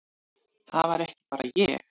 Það var ekki bara ég.